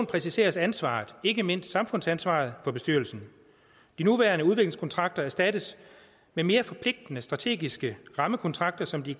præciseres ansvaret ikke mindst samfundsansvaret for bestyrelsen de nuværende udviklingskontrakter erstattes af mere forpligtende strategiske rammekontrakter som de